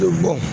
Bɛ bɔ